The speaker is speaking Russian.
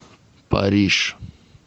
париж